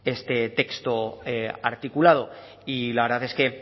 este texto articulado y la verdad es que